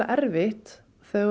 erfitt